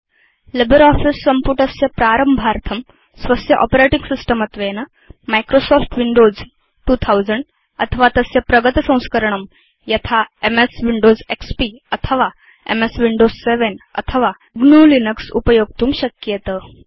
LibreOffice सम्पुटस्य प्रारम्भार्थं स्वस्य आपरेटिंग सिस्टम् त्वेन माइक्रोसॉफ्ट विंडोज 2000 अथवा तस्य प्रगतसंस्करणं यथा एमएस विंडोज एक्सपी अथवा एमएस विंडोज 7 अथवा gnuलिनक्स उपयोक्तुं शक्येत